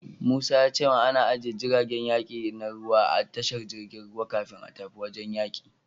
Musa ya ce min ana ajiye jiragen yaki na ruwa a tashar jirgin ruwa kafin a tafi wajen yaki.